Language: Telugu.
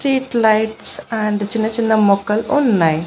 స్ట్రీట్ లైట్స్ అండ్ చిన్న చిన్న మొక్కలు ఉన్నాయి.